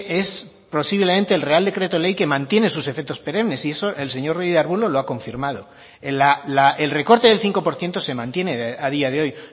es posiblemente el real decreto ley que mantiene sus efectos perenes y eso el señor ruiz de arbulo lo ha confirmado el recorte del cinco por ciento se mantiene a día de hoy